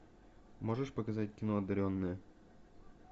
можешь показать кино одаренные